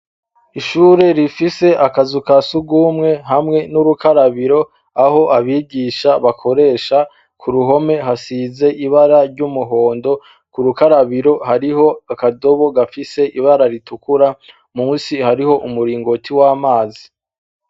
Ishure rifise akazu ka surwumwe hamwe n'urukarabiro aho abigisha bakoresha; ku ruhome hasize ibara ry'umuhondo, ku rukarabiro hariho akadobo gafise ibara ritukura, munsi hariho umuringoti w'amazi.